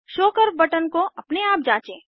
show curve button को अपने आप जाँचें